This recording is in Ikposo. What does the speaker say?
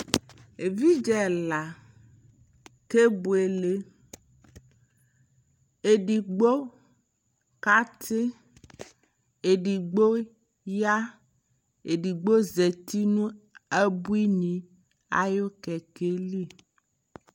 ɛvidzɛ ɛla kɛbʋɛlɛ, ɛdigbɔ ka tii, ɛdigbɔ ya, ɛdigbɔ zati nʋ abʋini ayʋ kɛkɛli